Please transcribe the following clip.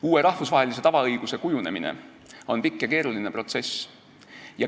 Uue rahvusvahelise tavaõiguse kujunemine on pikk ja keeruline protsess.